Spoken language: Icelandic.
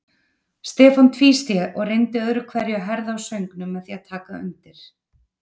Stefán tvísté og reyndi öðru hverju að herða á söngnum með því að taka undir.